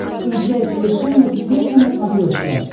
включай совершенно секретно на смотрешке